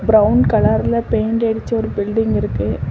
Brown கலர்ல paint அடிச்ச ஒரு பில்டிங் இருக்கு.